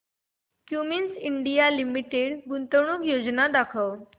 Cummins India limited गुंतवणूक योजना दाखव